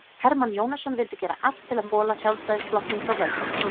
Hermann Jónasson vildi gera allt til að bola Sjálfstæðisflokknum frá völdum.